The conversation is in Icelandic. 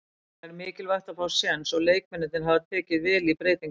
Það er mikilvægt að fá séns og leikmennirnir hafa tekið vel í breytingarnar.